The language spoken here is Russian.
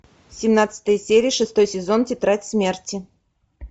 семнадцатая серия шестой сезон тетрадь смерти